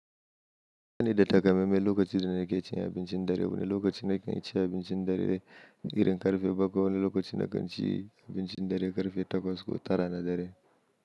Bani da takamammen lokacin da nake cin abincin dare. Wane lokaci nakan ci abincin dare? Irin karfe bakwai wani lokaci na kanci abincin dare karfe takwas ko tara na dare.